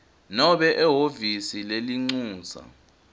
nobe ehhovisi lelincusa